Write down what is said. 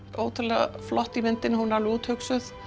ótrúlega flott í myndinni hún er alveg úthugsuð